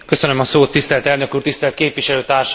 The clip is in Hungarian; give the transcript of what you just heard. Tisztelt elnök úr, tisztelt képviselőtársaim!